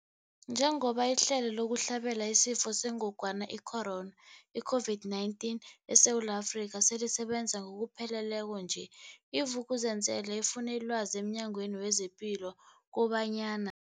Njengoba ihlelo lokuhlabela isiFo sengogwana i-Corona, i-COVID-19, eSewula Afrika selisebenza ngokupheleleko nje, i-Vuk'uzenzele ifune ilwazi emNyangweni wezePilo kobanyana.